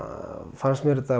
fannst mér þetta